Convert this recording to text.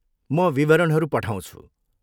म विवरणहरू पठाउँछु।